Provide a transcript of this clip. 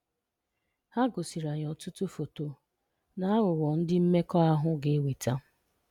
Ha gosiri anyị ọtụtụ foto na aghụghọ ndị mmekọahụ ga-eweta.